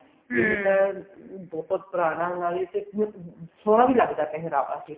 ਇਹ ਤਾਂ ਬਹੁਤ ਪੁਰਾਣਾ ਨਾਲੇ ਸੋਹਨਾ ਵੀ ਲੱਗਦਾ ਪਹਿਰਾਵਾ